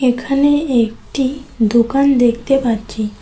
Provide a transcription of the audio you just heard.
এখানে একটি দোকান দেখতে পাচ্ছি।